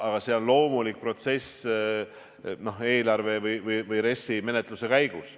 Aga see on loomulik protsess eelarve või RES-i menetluse käigus.